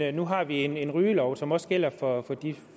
at nu har vi en en rygelov som også gælder for de